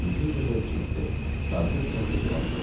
Mümkün qədər ciddi, sakit tərzdə cavab verdim.